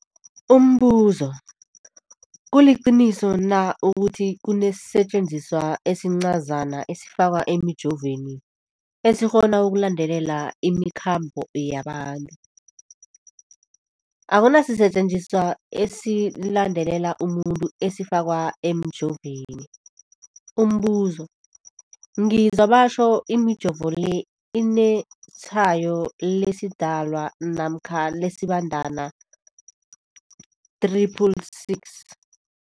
Umbuzo, kuliqiniso na ukuthi kunesisetjenziswa esincazana esifakwa emijovweni, esikghona ukulandelela imikhambo yabantu? Akuna sisetjenziswa esilandelela umuntu esifakwe emijoveni. Umbuzo, ngizwa batjho imijovo le inetshayo lesiDalwa namkha lesiBandana 666.